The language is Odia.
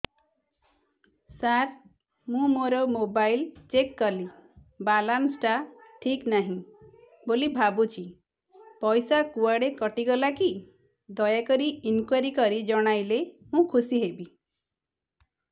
ସାର ମୁଁ ମୋର ମୋବାଇଲ ଚେକ କଲି ବାଲାନ୍ସ ଟା ଠିକ ନାହିଁ ବୋଲି ଭାବୁଛି ପଇସା କୁଆଡେ କଟି ଗଲା କି ଦୟାକରି ଇନକ୍ୱାରି କରି ଜଣାଇଲେ ମୁଁ ଖୁସି ହେବି